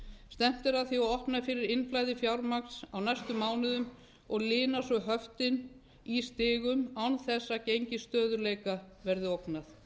stefnt er að því að opna fyrir innflæði fjármagns á næstu mánuðum og lina svo höftin í stigum án þess að gengi stöðugleika verði ógnað